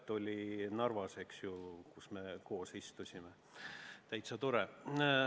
See oli Narvas, kus me koos istusime, ja oli täitsa tore.